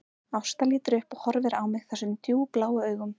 Ásta lítur upp og horfir á mig þessum djúpbláu augum